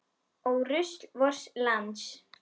Ó rusl vors lands.